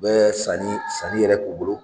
U bɛ sanni, sanni yɛrɛ k'u bolo